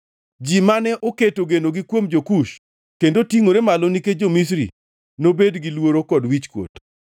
Ji mane oketo genoni kuom jo-Kush, kendo tingʼore malo nikech jo-Misri nobed gi luoro kod wichkuot.